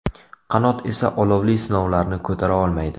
Qanot esa olovli sinovlarni ko‘tara olmaydi.